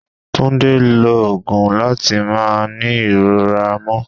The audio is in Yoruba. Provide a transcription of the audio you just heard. Túndé lo òògùn láti máa ní ìrora mo